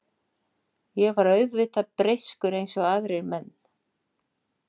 Ég er auðvitað breyskur eins og aðrir menn.